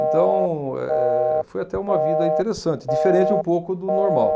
Então, eh, foi até uma vida interessante, diferente um pouco do normal.